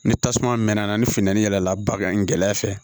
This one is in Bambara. Ni tasuma mɛna ni funtɛni yɛlɛla bagan in gɛlɛya fɛ